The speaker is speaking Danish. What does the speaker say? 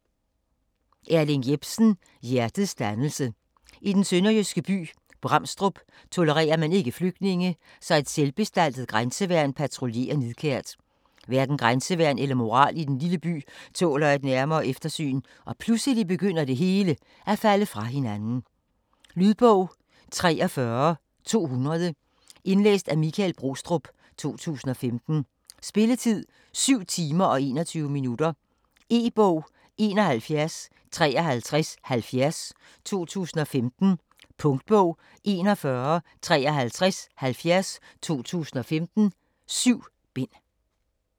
Jepsen, Erling: Hjertets dannelse I den sønderjyske by Bramstrup tolererer man ikke flygtninge, så et selvbestaltet grænseværn patruljerer nidkært. Hverken grænseværn eller moral i den lille by tåler et nærmere eftersyn, og pludselig begynder det hele at falde fra hinanden. Lydbog 43200 Indlæst af Michael Brostrup, 2015. Spilletid: 7 timer, 21 minutter. E-bog 715370 2015. Punktbog 415370 2015. 7 bind.